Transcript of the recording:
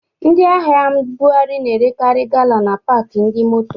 Ndị ahịa mbughari na-erekari gala na paki ndi moto